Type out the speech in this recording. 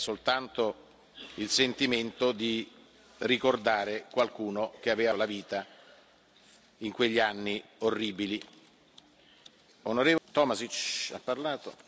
Da parte mia non c'è assolutamente alcuna intenzione revanscista, c'era soltanto il sentimento di ricordare qualcuno che aveva perso la vita in quegli anni orribili.